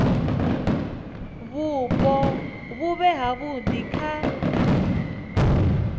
vhupo vhu vhe havhudi kha